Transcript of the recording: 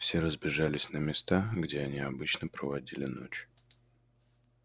все разбежались на места где они обычно проводили ночь